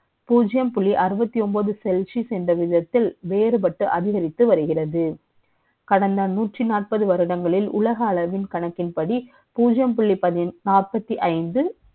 பூஜ்ஜியம் புள்ளி அறுபத்தி ஒன்பது celsius என்ற விதத்தில், வே றுபட்டு அதிகரித்து வருகிறது. கடந்த நூற்றி நாற்பது வருடங்களில், உலக அளவின் கணக்கின்படி, புள்ளி